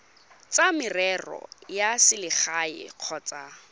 tsa merero ya selegae kgotsa